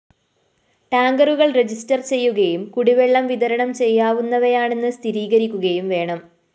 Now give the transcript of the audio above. ടാങ്കറുകള്‍ register ചെയ്യുകയും കുടിവെളളം വിതരണം ചെയ്യാവുന്നവയാണെന്ന് സ്ഥിരീകരിക്കുകയും വേണം